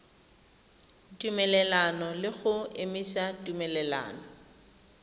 tumelelano le go emisa tumelelano